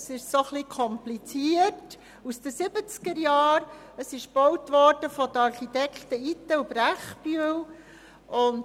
Es ist ein bisschen kompliziert, stammt aus den 1970er-Jahren und wurde von den Architekten Itten+Brechbühl gebaut.